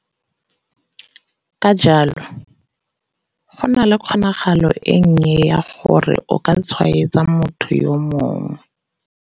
Ka jalo, go nna le kgonagalo e nnye ya gore o ka tshwaetsa motho yo mongwe.